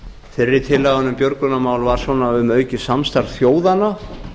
fyrri tillagan um björgunarmál var um aukið samstarf þjóðanna